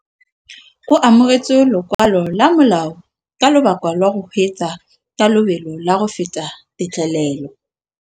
O amogetse lokwalô lwa molao ka lobaka lwa go kgweetsa ka lobelo la go feta têtlêlêlô.